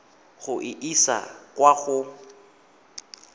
go e isa kwa go